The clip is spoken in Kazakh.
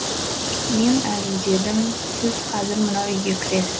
мен әзілдедім сіз қазір мынау үйге кіресіз